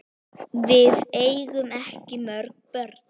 Við eigum ekki mörg börn.